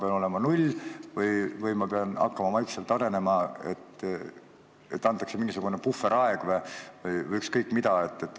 Kas võib olla null või ma pean hakkama vaikselt arenema, antakse mingi puhveraeg või ükskõik mida?